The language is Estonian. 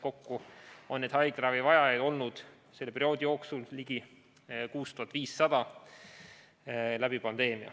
Kokku on pandeemia ajal haiglaravi vajajaid olnud, selle perioodi jooksul ligi 6500.